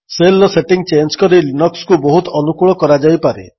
ଶେଲ୍ର setting change କରି ଲିନକ୍ସକୁ ବହୁତ ଅନୁକୂଳ କରାଯାଇପାରେ